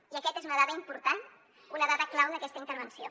i aquesta és una dada important una dada clau d’aquesta intervenció